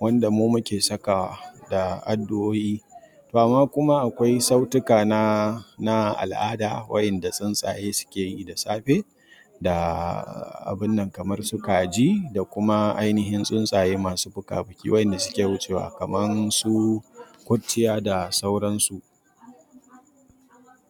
wanda mu muke sakawa da addu'o'i. To amma kuma akwai sautuka na, na al'ada wayanda tsuntsaye suke yi da safe. Da abunnan kamar su kaji da kuma ainihin tsuntsaye masu fuka-fuki wayanda suke wucewa kamar su kurciya da sauransu.